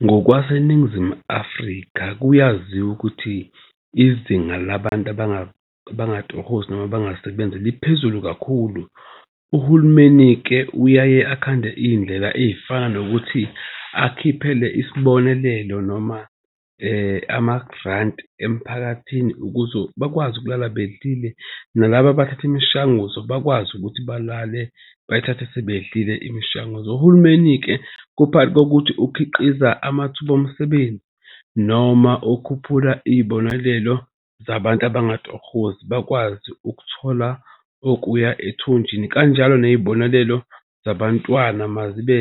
NgokwaseNingizimu Afrika, kuyaziwa ukuthi izinga labantu abangatohozi noma abangasebenzi liphezulu kakhulu. Uhulumeni-ke uyaye akhande iy'ndlela ey'fana nokuthi akhiphele isibonelelo noma amarandi emphakathini ukuze bakwazi ukulala bedlile. Nalaba abathatha imishanguzo bakwazi ukuthi balale bayithathe sebedlile imishanguzo. Uhulumeni-ke kuphakathi kokuthi ukhiqiza amathuba omsebenzi noma ukhuphula iy'bonelelo zabantu abangatohozi. Bakwazi ukuthola okuya ethunjini kanjalo ney'bonelelo zabantwana mazibe